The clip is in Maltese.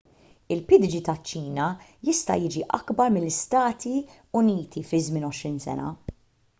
il-pdg taċ-ċina jista' jiġi akbar mill-istati uniti fi żmien għoxrin sena